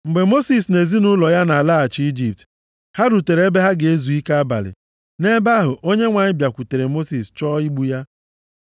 Mgbe Mosis na ezinaụlọ ya na-alaghachi Ijipt, ha rutere ebe ha ga-ezu ike abalị. Nʼebe ahụ, Onyenwe anyị bịakwutere Mosis chọọ igbu ya.